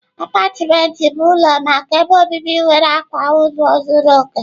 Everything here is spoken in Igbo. Apátịment bụ ụlọ maka ebe obibi nwere akwa ụlọ zuru oke..